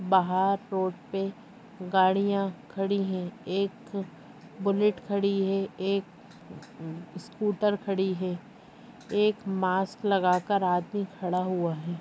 बाहर रोड पे गाड़िया खड़ी है एक बुलेट खडी हे एक उः उः स्कूटर खडी हे एक मास्क लगाकर आदमी खङा हुआ हे।